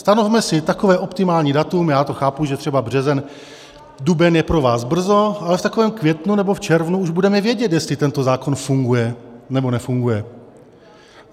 Stanovme si takové optimální datum, já to chápu, že třeba březen, duben je pro vás brzo, ale v takovém květnu nebo v červnu už budeme vědět, jestli tento zákon funguje, nebo nefunguje.